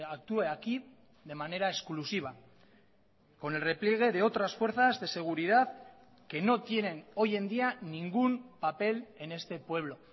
actúe aquí de manera exclusiva con el repliegue de otras fuerzas de seguridad que no tienen hoy en día ningún papel en este pueblo